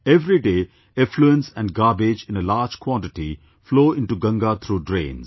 Every day, effluents and garbage in a large quantity flow into Ganga through drains